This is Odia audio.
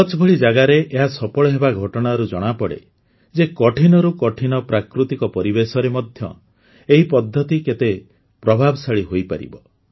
କଚ୍ଛ ଭଳି ଜାଗାରେ ଏହା ସଫଳ ହେବା ଘଟଣାରୁ ଜଣାପଡ଼େ ଯେ କଠିନରୁ କଠିନ ପ୍ରାକୃତିକ ପରିବେଶରେ ମଧ୍ୟ ଏହି ପଦ୍ଧତି କେତେ ପ୍ରଭାବଶାଳୀ ହୋଇପାରିବ